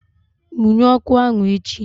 Munye ọkụ ahụ echi!